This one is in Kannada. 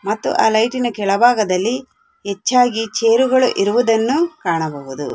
ಮತ್ತು ಆ ಲೈಟಿನ ಕೆಳಭಾಗದಲ್ಲಿ ಹೆಚ್ಚಾಗಿ ಚೇರುಗಳು ಇರುವುದನ್ನು ಕಾಣಬಹುದು.